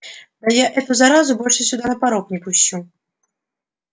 да я эту заразу больше сюда и на порог не пущу